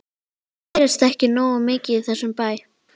Það gerist ekki nógu mikið í þessum bæ.